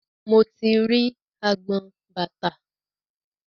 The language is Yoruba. Mo ti rí agbọn bàtà.